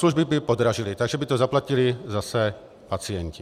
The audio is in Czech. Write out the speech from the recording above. Služby by podražily, takže by to zaplatili zase pacienti.